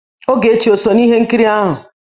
Ogechi ò so n'ihe nkiri ahụ?